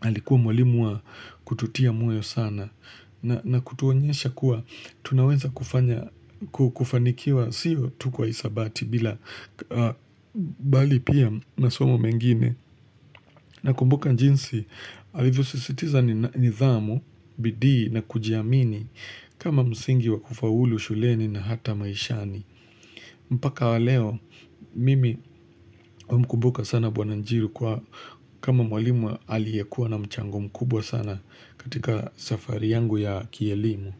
Alikuwa mwalimu wa kututia moyo sana na kutuonyesha kuwa tunaweza kufanikiwa siyo tuko isabati bila bali pia masomo mengine na kumbuka njinsi alivyosisitiza nithamu, bidii na kujiamini kama msingi wa kufaulu shuleni na hata maishani. Mpaka wa leo, mimi humkumbuka sana bwana njiru kwa kama mwalimu aliyekuwa na mchango mkubwa sana katika safari yangu ya kielimu.